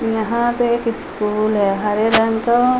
यहाँ पे एक स्कूल है हरे रंग का।